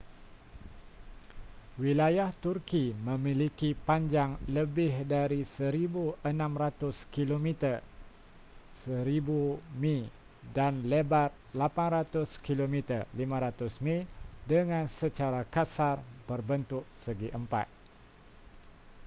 wilayah turki memiliki panjang lebih dari 1,600 kilometer 1,000 mi dan lebar 800 km 500 mi dengan secara kasar berbentuk segi empat